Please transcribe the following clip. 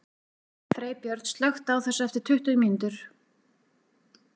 Freybjörn, slökktu á þessu eftir tuttugu mínútur.